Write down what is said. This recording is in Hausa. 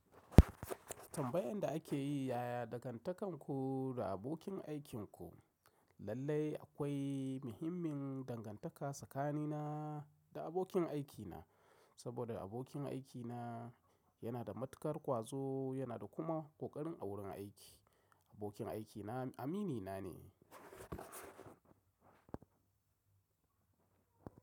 Tambayan da ake yi, yaya dangantakarku da abokin aikinku? Lallai akwai muhimmin dangantaka tsakanina da abokin aikina, saboda abokin aikina yana da matukar ƙwazo, yana da kuma ƙoƙarin a wurin aiki. Abokin aikina aminina ne.